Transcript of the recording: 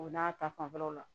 O n'a ta fanfɛlaw la